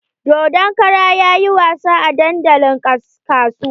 Dodon kara yayi wasa a dandalin kasuwa.